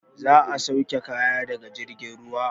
Za a sauke kaya daga jirgin ruwa.